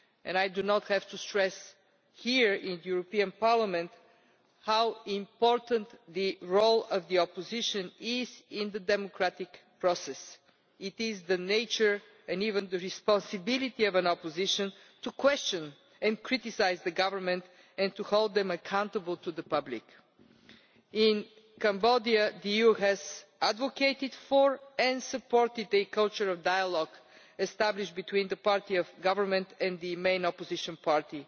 I do not have to stress here in this Parliament how important the role of the opposition is in the democratic process. It is the nature and even the responsibility of an opposition to question and criticise the government and to hold them accountable to the public. In Cambodia the EU has advocated for and supported a culture of dialogue established between the party of government and the main opposition party.